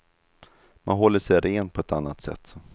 Man håller sig ren på ett annat sätt.